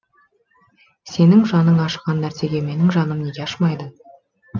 сенің жаның ашыған нәрсеге менің жаным неге ашымайды